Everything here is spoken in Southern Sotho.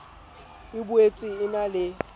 e boetse e na le